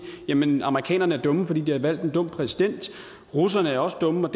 jamen amerikanerne er dumme fordi de har valgt en dum præsident russerne er også dumme